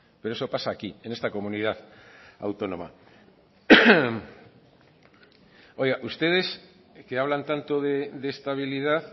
pero eso pasa aquí en esta comunidad autónoma oiga ustedes que hablan tanto de estabilidad